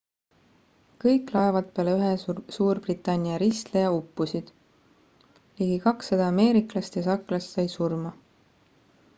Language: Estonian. kõik laevad peale ühe suurbritannia ristleja uppusid ligi 200 ameeriklast ja sakslast said surma